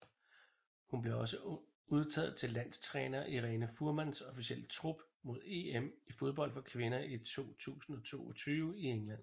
Hun blev også udtaget til landstræner Irene Fuhrmanns officielle trup mod EM i fodbold for kvinder 2022 i England